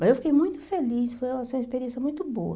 Mas eu fiquei muito feliz, foi uma foi uma experiência muito boa.